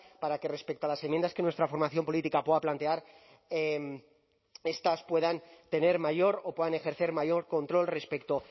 para que respecto a las enmiendas que nuestra formación política pueda plantear estas puedan tener mayor o puedan ejercer mayor control respecto